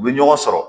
U bɛ ɲɔgɔn sɔrɔ